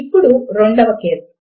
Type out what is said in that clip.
ఇప్పుడు రెండవ కేస్